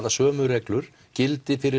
að sömu reglur gildi fyrir